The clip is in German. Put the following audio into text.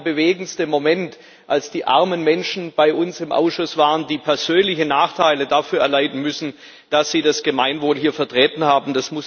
Das war mit der bewegendste Moment, als die armen Menschen bei uns im Ausschuss waren, die persönliche Nachteile dafür erleiden müssen, dass sie das Gemeinwohl hier vertreten haben.